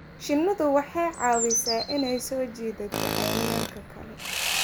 Shinnidu waxay caawisaa inay soo jiidato cayayaanka kale.